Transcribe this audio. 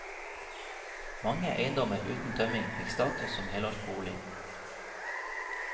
Mange eiendommer uten tømming fikk status som helårsbolig.